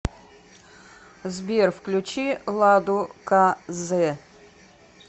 сбер включи ладу ка зэ